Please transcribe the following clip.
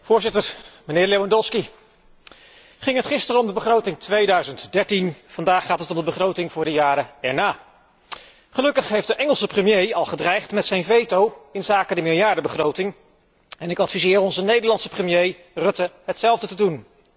Voorzitter, mijnheer Lewandowski, ging het gisteren om de begroting 2013, vandaag gaat het om de begroting voor de jaren erna. Gelukkig heeft de Engelse premier al gedreigd met zijn veto inzake de miljardenbegroting en ik adviseer onze Nederlandse premier Rutte hetzelfde te doen.